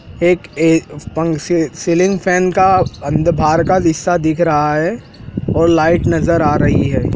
एक ए पंक सी सीलिंग फैन का अंद बाहर का हिस्सा दिख रहा है और लाइट नज़र आ रही है।